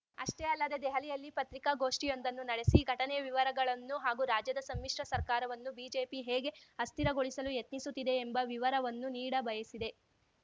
ಅಷ್ಟೇ ಅಲ್ಲದೆ ದೆಹಲಿಯಲ್ಲಿ ಪತ್ರಿಕಾಗೋಷ್ಠಿಯೊಂದನ್ನು ನಡೆಸಿ ಘಟನೆಯ ವಿವರಗಳನ್ನು ಹಾಗೂ ರಾಜ್ಯದ ಸಮ್ಮಿಶ್ರ ಸರ್ಕಾರವನ್ನು ಬಿಜೆಪಿ ಹೇಗೆ ಅಸ್ಥಿರಗೊಳಿಸಲು ಯತ್ನಿಸುತ್ತಿದೆ ಎಂಬ ವಿವರವನ್ನು ನೀಡ ಬಯಸಿದೆ